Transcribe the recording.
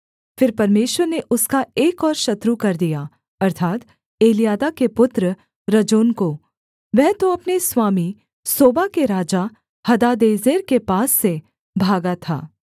फिर परमेश्वर ने उसका एक और शत्रु कर दिया अर्थात् एल्यादा के पुत्र रजोन को वह तो अपने स्वामी सोबा के राजा हदादेजेर के पास से भागा था